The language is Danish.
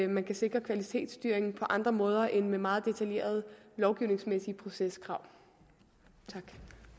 man kan sikre kvalitetsstyring på andre måder end med meget detaljerede lovgivningsmæssige proceskrav